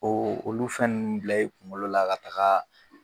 Oo olu fɛn nunnu bila i kuŋolo la ka tagaa